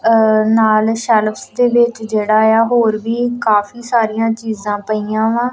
ਨਾਲ ਸੈਲਫ ਦੇ ਵਿੱਚ ਜਿਹੜਾ ਆ ਹੋਰ ਵੀ ਕਾਫੀ ਸਾਰੀਆਂ ਚੀਜ਼ਾਂ ਪਈਆਂ ਵਾ।